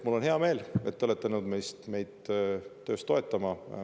Mul on hea meel, et te olete nõus meid töös toetama.